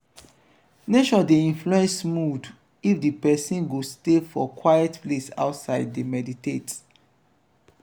nature de influence mood if di persin go stay for quite place outside de meditate